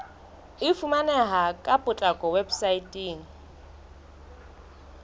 e fumaneha ka potlako weposaeteng